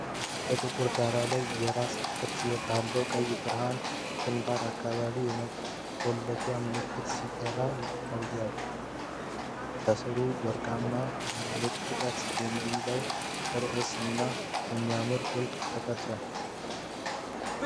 በጥቁር ዳራ ላይ፣ የራስ ቅርጽ ባለው ቀይ ብርሃን ግንባር አካባቢ የመቆለፊያ ምልክት ሲበራ ይታያል፤ ከሥሩም ወርቃማው 'ምጥቀት' የሚለው ርዕስ እና የሚያብረቀርቅ ቁልፍ ተቀርጿል።